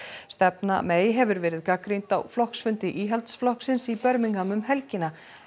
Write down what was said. stefna hefur verið gagnrýnd á flokksfundi Íhaldsflokksins í Birmingham um helgina